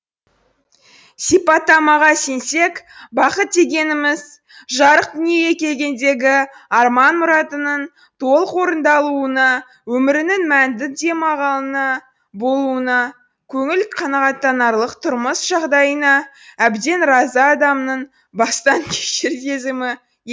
сипаттамаға сенсек бақыт дегеніміз жарық дүниеге келгендегі арман мұратының толық орындалуына өмірінің мәнді демалғынына болуына көңіл қанағаттанарлық тұрмыс жағдайына әбден разы адамның бастан кешер сезімі